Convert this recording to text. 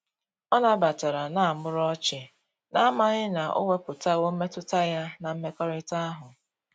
Ọ na batara na muru ochi, na amaghi na o weputawo mmetụta ya na mmekorita ahu.